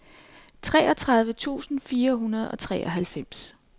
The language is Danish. treogtredive tusind fire hundrede og treoghalvfems